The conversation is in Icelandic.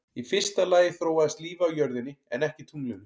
Í fyrsta lagi þróaðist lífið á jörðinni en ekki tunglinu.